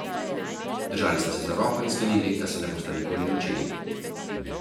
Držali sta se za roko in sklenili, da se ne bosta nikoli ločili.